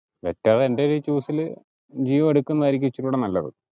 വെച്ചാ എന്റെ ഒരു choose ഇൽ ജിയോ എടുക്കുന്നതായിരിക്കും ഇച്ചിരികൂടെ നല്ലത്